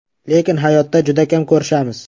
Lekin hayotda juda kam ko‘rishamiz.